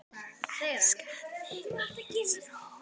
Elska þig, Íris Rún.